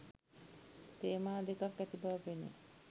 තේමා දෙකක් ඇති බව පෙනෙයි.